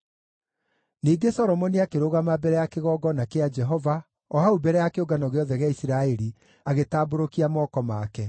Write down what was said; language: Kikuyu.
Ningĩ Solomoni akĩrũgama mbere ya kĩgongona kĩa Jehova o hau mbere ya kĩũngano gĩothe gĩa Isiraeli, agĩtambũrũkia moko make.